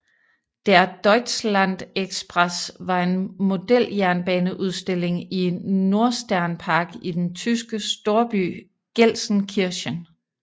Der Deutschlandexpress var en modeljernbaneudstilling i Nordsternpark i den tyske storby Gelsenkirchen